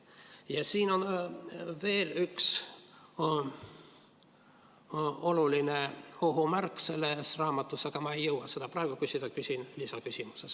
Ja selles raamatus on veel üks suur ohumärk, aga selle kohta ma ei jõua praegu küsida, küsin lisaküsimuses.